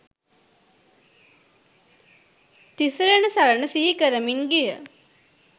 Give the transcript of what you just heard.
තිසරණ සරණ සිහි කරමින් ගිය